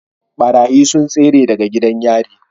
Ɓarayi sun tsere daga gidan yari